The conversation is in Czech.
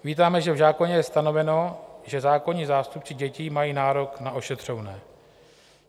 Vítáme, že v zákoně je stanoveno, že zákonní zástupci dětí mají nárok na ošetřovné.